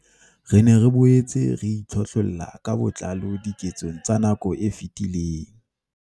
Re ne re boetse re itlhohlolla ka botlalo diketsong tsa nako e fetileng.